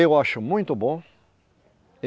Eu acho muito bom.